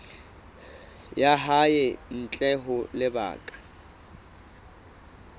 ya hae ntle ho lebaka